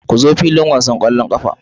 Ku zo filin wasan ƙwallon ƙafa.